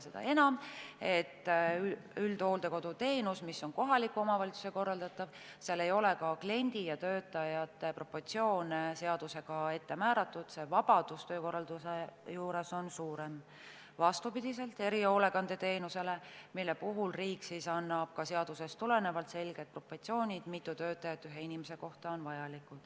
Seda enam, et üldhooldekoduteenuse korral, mis on kohaliku omavalitsuse korraldatav, ei ole ka kliendi ja töötajate proportsioone seadusega ette määratud, vabadus töö korraldamisel on suurem, vastupidi erihoolekandeteenusele, mille puhul riik annab ka seadusest tulenevalt selged proportsioonid, mitu töötajat ühe inimese kohta on vaja.